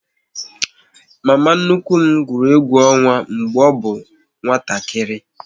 Mama nnukwu m gwụrụ egwu ọnwa mgbe ọ bụ nwatakịrị